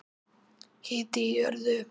Hiti í jörðu